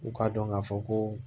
U k'a dɔn k'a fɔ ko